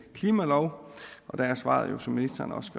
klimalov der er svaret jo som ministeren også